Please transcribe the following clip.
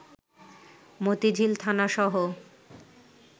Motijheel থানাসহ